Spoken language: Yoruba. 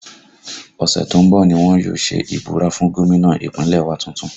Ọ̀sẹ̀ tó ń bọ̀ ni wọ́n yóò ṣe ìbúra fún gómìnà Ìpínlẹ̀ wa tuntun